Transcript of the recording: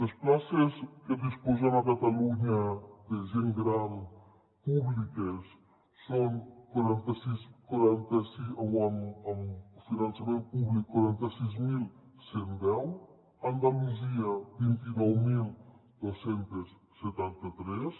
les places de que disposem a catalunya de gent gran públiques amb finançament públic són quaranta sis mil cent i deu a andalusia vint nou mil dos cents i setanta tres